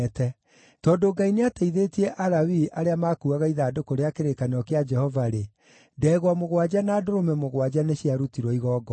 Tondũ Ngai nĩateithĩtie Alawii arĩa maakuuaga ithandũkũ rĩa kĩrĩkanĩro kĩa Jehova-rĩ, ndegwa mũgwanja na ndũrũme mũgwanja nĩciarutirwo igongona.